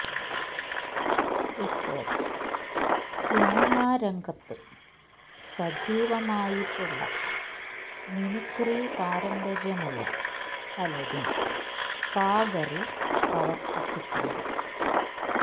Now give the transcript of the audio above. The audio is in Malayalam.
ഇപ്പോൾ സിനിമാ രംഗത്ത് സജീവമായിട്ടുള്ള മിമിക്രി പാരമ്പര്യമുള്ള പലരും സാഗറിൽ പ്രവർത്തിച്ചിട്ടുണ്ട്